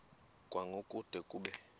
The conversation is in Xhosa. kwango kude kube